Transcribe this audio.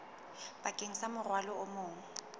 bakeng sa morwalo o mong